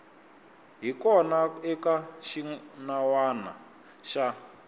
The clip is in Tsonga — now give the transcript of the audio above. hi kona eka xinawana xa